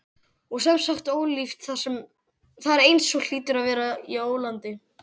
. og sem sagt ólíft þar eins og hlýtur að vera í ólandi.